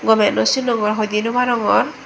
gomey no sinongor hoidi noarongor.